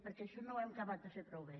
perquè això no ho hem acabat de fer prou bé